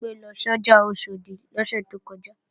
Bimpé lọ sọ́jà Oṣòdì lọ́sẹ̀ tó kọjá